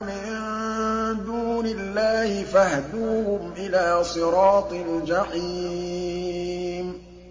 مِن دُونِ اللَّهِ فَاهْدُوهُمْ إِلَىٰ صِرَاطِ الْجَحِيمِ